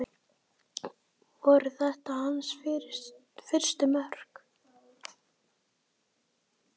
Voru þetta hans fyrstu mörk?